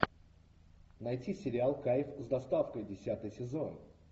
найти сериал кайф с доставкой десятый сезон